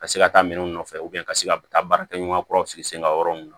Ka se ka taa minɛnw nɔfɛ ka se ka taa baarakɛɲɔgɔnkɔrɔw sigi sen ga yɔrɔ min na